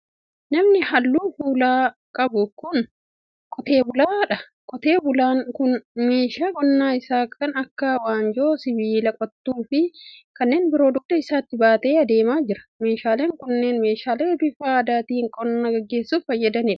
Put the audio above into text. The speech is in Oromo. Namni halluu gogaa fuulaa qabu kun, qotee bulaa dha. Qotee bulaan kun, meeshaa qonaa isaa kan akka:waanjoo, sibiila qottuu fi kanneen biroo dugda isaatti baatee adeemaa jira. Meeshaaleen kunneen, meeshaalee bifa aadaatin qonna gaggeessuuf fayyadanii dha.